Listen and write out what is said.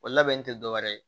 O labɛnni tɛ dɔwɛrɛ ye